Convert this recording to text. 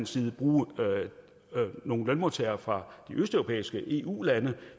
side bruge nogle lønmodtagere fra de østeuropæiske eu lande